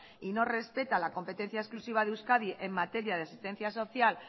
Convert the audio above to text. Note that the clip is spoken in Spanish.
y no respeta la competencia exclusiva de euskadi en materia de asistencia social